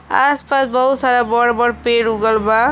आस पास बहुत सारा बड़ बड़ पेड़ उगल बा।